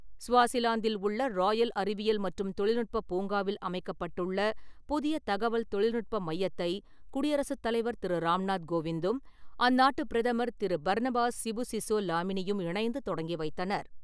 ஸ்வாசிலாந்தில் உள்ள ராயல் அறிவியல் மற்றும் தொழில்நுட்ப பூங்காவில் அமைக்கப்பட்டுள்ள புதிய தகவல் தொழில்நுட்ப மையத்தை குடியரசுத் தலைவர் திரு ராம்நாத் கோவிந்தும், அந்நாட்டு பிரதமர் திரு. பர்னபாஸ் சிபுசிசோ லாமினியும் இணைந்து தொடங்கி வைத்தனர்.